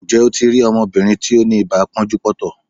Ǹjẹ́ o ti rí ọmọbìnrin tí ó ni ibà pọ́njú-pọ́ntọ̀?